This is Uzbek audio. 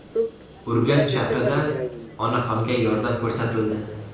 Urganch shahrida onaxonga yordam ko‘rsatildi.